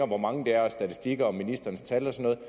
hvor mange det er statistikker og ministerens tal og sådan